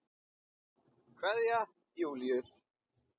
Kveðja, Júlíus.